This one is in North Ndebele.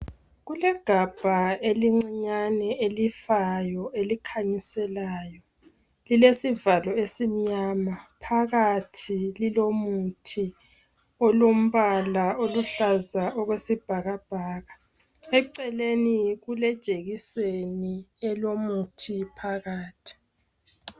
Kulegabha elincinyane elifayo elikhanyiselayo. Lilesivalo esimnyama. Phakathi lilomuthi olombala oluhlaza okwesibhakabhaka. Eceleni kulejekiseni elomuthi phakathi.